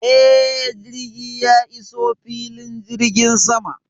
Eh, jirgi ya iso filin jirgin sama.